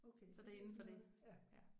Så det er indenfor det. Ja